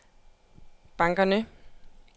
bankerne